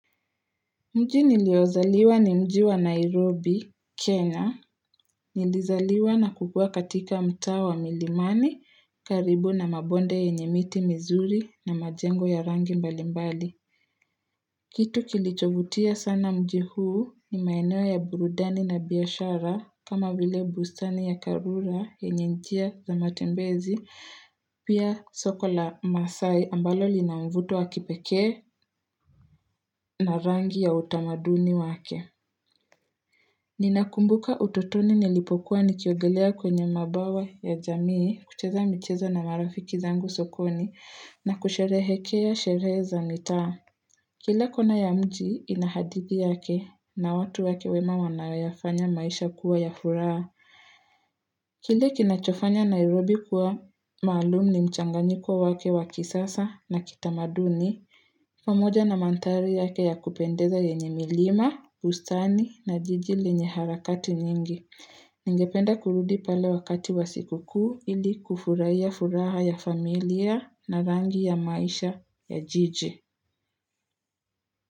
Mji niliozaliwa ni mji wa Nairobi, Kenya, nilizaliwa na kukua katika mtaa wa milimani karibu na mabonde yenye miti mizuri na majengo ya rangi mbalimbali. Kitu kilichovutia sana mji huu ni maeneo ya burudani na biashara kama vile bustani ya karura yenye njia za matembezi pia soko la maasai ambalo lina mvuto wa kipekee na rangi ya utamaduni wake. Ninakumbuka ututoni nilipokuwa nikiogelea kwenye mabawa ya jamii kucheza mchezo na marafiki zangu sokoni na kusherehekea sherehe za mitaa. Kila kona ya mji ina hadithi yake na watu wake wema wanayoyafanya maisha kuwa ya furaha. Kila kinachofanya Nairobi kuwa maalum ni mchanganyiko wake wa kisasa na kitamaduni, pamoja na mandhaari yake ya kupendeza yenye milima, ustani na jiji lenye harakati mingi. Ningependa kurudi pale wakati wa siku kuu ili kufurahia furaha ya familia na rangi ya maisha ya jiji.